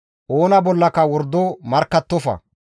« ‹Oona bollaka wordo markkattofa;